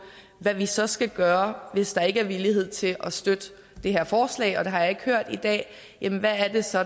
hvad vi så skal gøre hvis der ikke er villighed til at støtte det her forslag og det har jeg ikke hørt i dag jamen hvad er det så